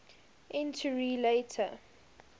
entury later